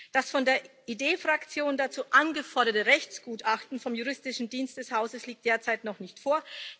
Das von der ID Fraktion dazu angeforderte Rechtsgutachten vom Juristischen Dienst des Hauses liegt derzeit noch nicht vor.